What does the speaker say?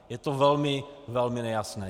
Je to velmi, velmi nejasné.